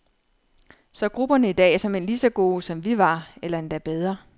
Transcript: Så grupperne i dag er såmænd lige så gode, som vi var, eller endda bedre.